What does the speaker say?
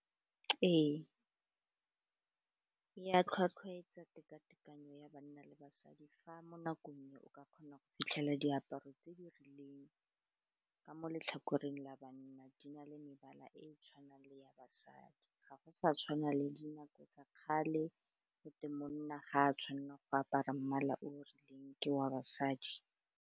Ee, ya tlhwatlhwaetsa tekatekano ya banna le basadi fa mo nakong e o ka kgona go fitlhelela diaparo tse di rileng ka mo letlhakoreng la banna di na le mebala e e tshwanang le ya basadi, ga go sa tshwana le dinako tsa kgale go te monna ga a tshwanna go apara mmala o rileng ke wa basadi.